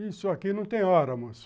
Isso aqui não tem hora, moço.